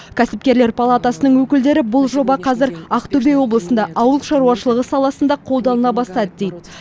кәсіпкерлер палатасының өкілдері бұл жоба қазір ақтөбе облысында ауыл шаруашылығы саласында қолданыла бастады дейді